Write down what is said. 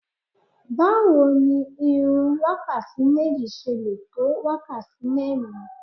Báwo ni irun wákàtí méjì ṣe lè tó wákàtí mẹ́rin?